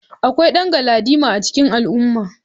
Akwai dan galadima a cikin al'umma.